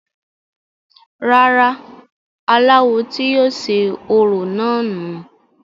rárá, aláwo tí yóò ṣe orò náà nù u